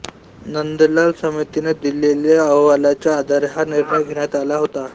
नंदलाल समितीने दिलेल्या अहवालाच्या आधारे हा निर्णय घेण्यात आला होता